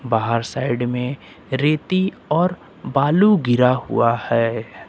बाहर साइड में रेती और बालू गिरा हुआ है।